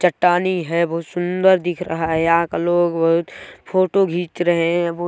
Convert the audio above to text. चट्टानें है बहुत सुन्दर दिख रहा है यहाँ का लोग बहुत फोटो खिच रहे है।